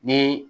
Ni